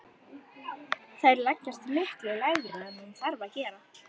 Þær leggjast miklu lægra en hún þarf að gera.